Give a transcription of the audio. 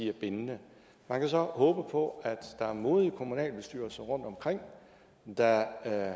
er bindende man kan så håbe på at der er modige kommunalbestyrelser rundtomkring der